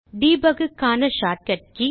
Debug க்கான shortcut K